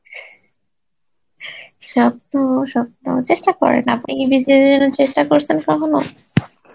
স্বপ্ন স্বপ্ন চেষ্টা করেন আপনি কি BCS এর জন্য চেষ্ঠা করসেন কখনো?